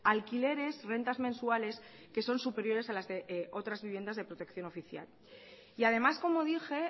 alquileres rentas mensuales que son superiores a las de otras viviendas de protección oficial y además como dije